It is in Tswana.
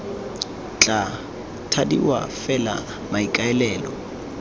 tla thadiwa f fela maikaelelo